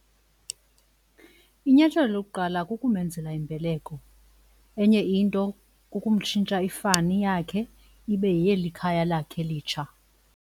Inyathelo lokuqala kukumenzela imbeleko. Enye into kukumtshintsha ifani yakhe ibe yeyelikhaya lakhe litsha.